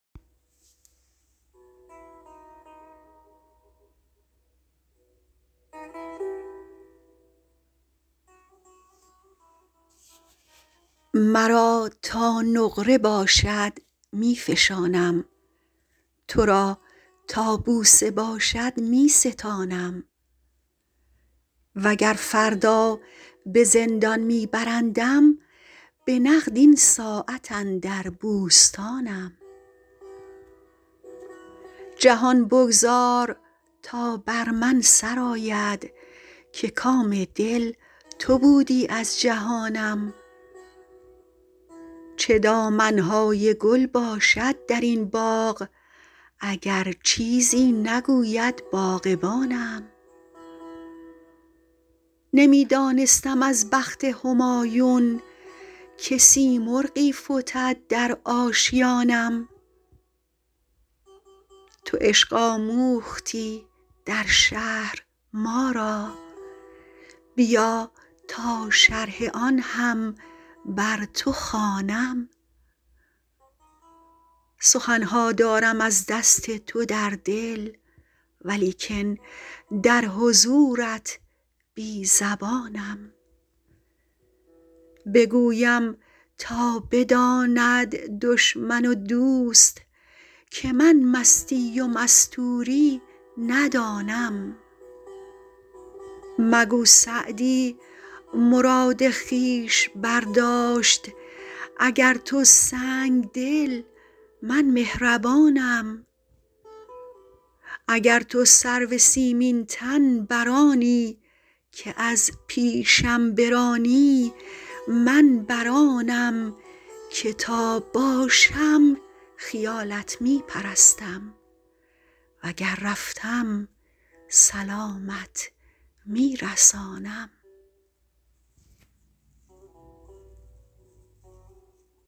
مرا تا نقره باشد می فشانم تو را تا بوسه باشد می ستانم و گر فردا به زندان می برندم به نقد این ساعت اندر بوستانم جهان بگذار تا بر من سر آید که کام دل تو بودی از جهانم چه دامن های گل باشد در این باغ اگر چیزی نگوید باغبانم نمی دانستم از بخت همایون که سیمرغی فتد در آشیانم تو عشق آموختی در شهر ما را بیا تا شرح آن هم بر تو خوانم سخن ها دارم از دست تو در دل ولیکن در حضورت بی زبانم بگویم تا بداند دشمن و دوست که من مستی و مستوری ندانم مگو سعدی مراد خویش برداشت اگر تو سنگدلی من مهربانم اگر تو سرو سیمین تن بر آنی که از پیشم برانی من بر آنم که تا باشم خیالت می پرستم و گر رفتم سلامت می رسانم